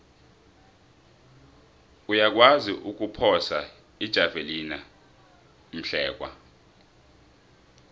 uyakwazi ukuphosa ijavelina umhlekwa